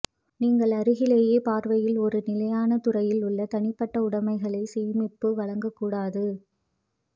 நீங்கள் அருகிலேயே பார்வையில் ஒரு நிலையான துறையில் உள்ள தனிப்பட்ட உடமைகளை சேமிப்பு வழங்கக் கூடாது